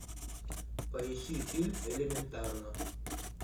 поищи фильм элементарно